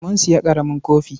Mun sayi ƙaramin kofi.